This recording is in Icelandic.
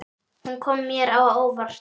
Hún kom mér á óvart.